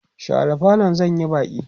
share falon zan Yi Baki!